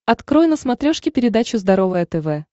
открой на смотрешке передачу здоровое тв